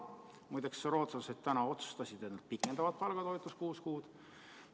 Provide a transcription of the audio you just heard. Muide, rootslased täna otsustasid, et nad pikendavad palgatoetust kuus kuud.